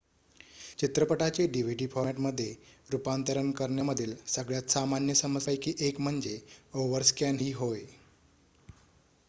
चित्रपटाचे dvd फॉरमॅटमध्ये रूपांतरण करण्यामधील सगळ्यात सामान्य समस्यांपैकी एक म्हणजे ओव्हरस्कॅन ही होय